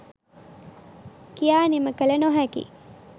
කියා නිම කල නොහැකි